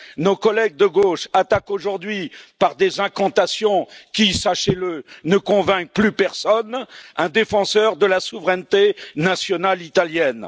Nos collègues de gauche attaquent aujourd'hui par des incantations qui, sachez le, ne convainquent plus personne, un défenseur de la souveraineté nationale italienne.